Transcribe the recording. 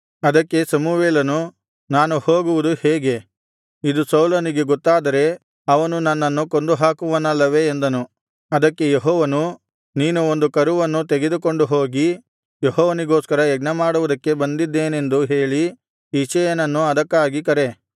ಅದಕ್ಕೆ ಸಮುವೇಲನು ನಾನು ಹೋಗುವುದು ಹೇಗೆ ಇದು ಸೌಲನಿಗೆ ಗೊತ್ತಾದರೆ ಅವನು ನನ್ನನ್ನು ಕೊಂದುಹಾಕುವನಲ್ಲವೇ ಎಂದನು ಅದಕ್ಕೆ ಯೆಹೋವನು ನೀನು ಒಂದು ಕರುವನ್ನು ತೆಗೆದುಕೊಂಡು ಹೋಗಿ ಯೆಹೋವನಿಗೋಸ್ಕರ ಯಜ್ಞಮಾಡುವುದಕ್ಕೆ ಬಂದಿದ್ದೇನೆಂದು ಹೇಳಿ ಇಷಯನನ್ನು ಅದಕ್ಕಾಗಿ ಕರೆ